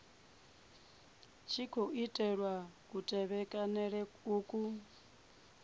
tshi khou tevhelwa kutevhekanele uku